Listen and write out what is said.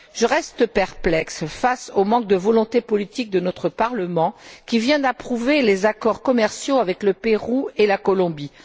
Je reste perplexe face au manque de volonté politique de notre Parlement qui vient d'approuver les accords commerciaux avec le Pérou et la Colombie.